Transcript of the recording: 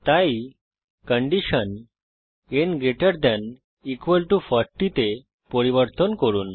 তাই condition n gt 40 তে পরিবর্তন করুন